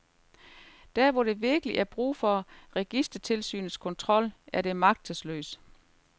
Der hvor der virkelig er brug for registertilsynets kontrol, er det magtesløst.